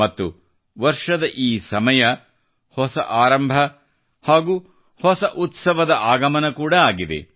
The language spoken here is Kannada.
ಮತ್ತು ವರ್ಷದ ಈ ಸಮಯ ಹೊಸ ಆರಂಭ ಹಾಗೂ ಹೊಸ ಉತ್ಸವದ ಆಗಮನ ಕೂಡಾಆಗಿದೆ